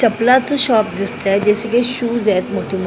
चपलाच shop दिसतंय जसे की शूज आहेत मोठे --